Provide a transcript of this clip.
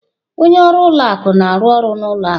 Onye ọrụ ụlọ akụ na-arụ ọrụ n'ụlọ akụ.